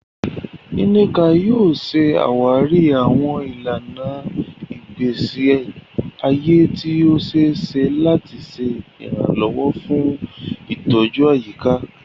Nneka yóò ṣàwárí àwọn ìlànà ìgbésí ayé tí ó ṣe é ṣe láti ṣe ìrànlọ́wọ́ fún ìtọ́jú àyíká.